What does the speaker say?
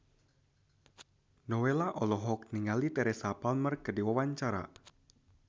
Nowela olohok ningali Teresa Palmer keur diwawancara